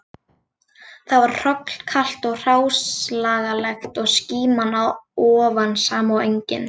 Þar var hrollkalt og hráslagalegt og skíman að ofan sama og engin